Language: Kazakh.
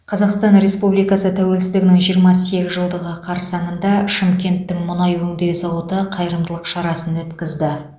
қазақстан республикасы тәуелсіздігінің жиырма сегіз жылдығы қарсаңында шымкенттің мұнай өңдеу зауыты қайырымдылық шарасын өткізді